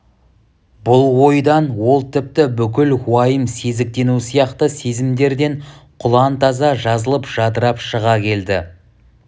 бұл ойдан ол тіпті бүкіл уайым сезіктену сияқты сезімдерден құлантаза жазылып жадырап шыға келді